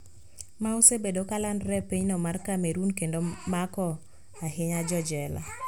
Ma osebedo kalandore e pinyno mar Cameroon kendo mako ahinya jojela